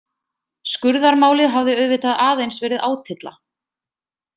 Skurðarmálið hafði auðvitað aðeins verið átylla.